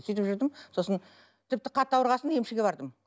сөйтіп жүрдім сосын тіпті қатты ауырған соң емшіге бардым